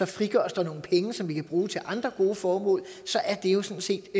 frigøres der nogle penge som vi kan bruge til andre gode formål så er det jo sådan set